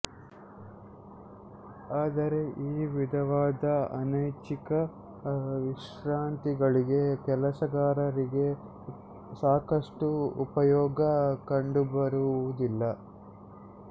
ಆದರೆ ಈ ವಿಧವಾದ ಅನೈಚ್ಛಿಕ ವಿಶ್ರಾಂತಿಗಳಿಂದ ಕೆಲಸಗಾರರಿಗೆ ಸಾಕಷ್ಟು ಉಪಯೋಗ ಕಂಡುಬರುವುದಿಲ್ಲ